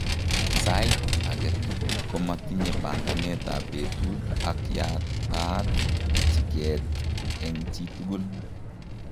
Saiit age tugul komatinye panganet ab betut ak yataat chikeet eng chitugul